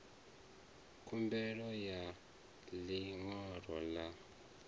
khumbelo ya ḽi ṅwalo ḽa